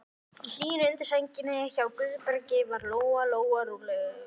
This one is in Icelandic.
Í hlýjunni undir sænginni hjá Guðbergi varð Lóa-Lóa rólegri.